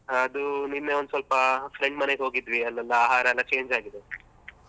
ಅದು ನಿನ್ನೆ ಒಂದ್ ಸ್ವಲ್ಪ friend ಮನೆಗೆ ಹೋಗಿದ್ವಿ ಅಲ್ಲೆಲ್ಲ ಆಹಾರ ಎಲ್ಲ change ಆಗಿದೆ .